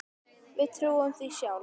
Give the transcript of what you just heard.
Við trúðum því sjálf.